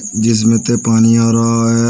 जिसमें ते पानी आ रहा है।